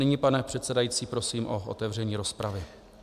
Nyní, pane předsedající, prosím o otevření rozpravy.